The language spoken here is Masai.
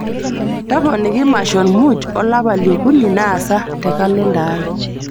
toponiki mashon muuj olapa li okuni naasa te rccg te kalenda aai